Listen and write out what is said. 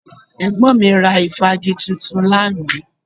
Ẹ̀gbọ́n mi ra ìfági tuntun lánàá